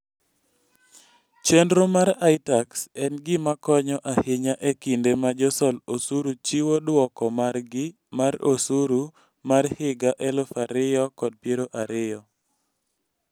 Chenro mar iTax en gima konyo ahinya e kinde ma josol osuru chiwo dwoko margi mar osuru mar higa 2020.